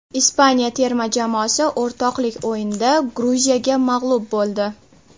Ispaniya terma jamoasi o‘rtoqlik o‘yinida Gruziyaga mag‘lub bo‘ldi .